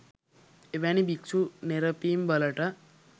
එවැනි භික්‍ෂු නෙරපීම් වලට